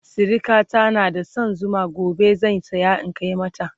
sirikata na da San Zuma gobe zan saya in Kai mata